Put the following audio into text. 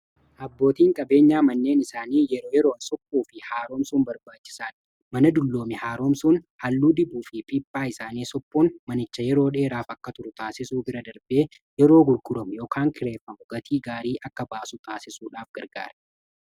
Abbootiin qabeenyaa manneen isaanii yeroo yeroon suphuu fi haaroomsuun barbaachisaadha mana dullooman haaroomsuun halluu dibuu fi pippaa isaanii suphuun manicha yeroo dheeraaf akka turu taasisuu bira darbee yeroo gurguraman yookaan kireeffaman gatii gaarii akka baasu taasisuudhaaf gargaara.